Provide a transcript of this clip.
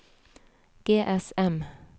GSM